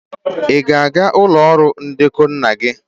Ị ga-aga ụlọ ọrụ ndekọ nna gị?